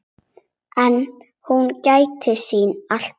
En hún gætir sín alltaf.